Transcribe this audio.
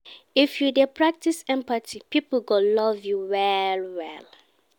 If you dey practice empathy, pipo go love you well-well.